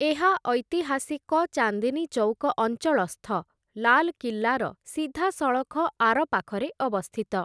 ଏହା, ଐତିହାସିକ ଚାନ୍ଦିନୀ ଚୌକ ଅଞ୍ଚଳସ୍ଥ ଲାଲକିଲ୍ଲାର ସିଧାସଳଖ ଆରପାଖରେ ଅବସ୍ଥିତ ।